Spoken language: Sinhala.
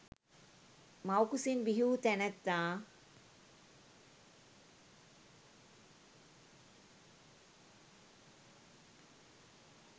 මව් කුසින් බිහිවූ තැනැත්තා